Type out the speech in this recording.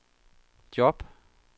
job